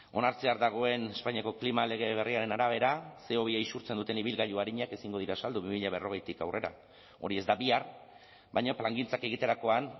onartzear dagoen espainiako klima lege berriaren arabera ce o bi isurtzen duten ibilgailu arinak ezingo dira saldu bi mila berrogeitik aurrera hori ez da bihar baina plangintzak egiterakoan